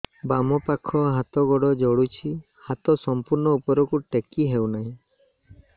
ବାମପାଖ ହାତ ଗୋଡ଼ ଜଳୁଛି ହାତ ସଂପୂର୍ଣ୍ଣ ଉପରକୁ ଟେକି ହେଉନାହିଁ